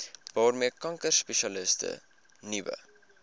waarmee kankerspesialiste nuwe